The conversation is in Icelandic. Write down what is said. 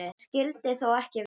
Það skyldi þó ekki vera?